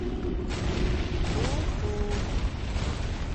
ку ку